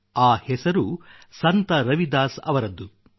ಆ ಹೆಸರು ಸಂತ ರವಿದಾಸ್ ಅವರದ್ದು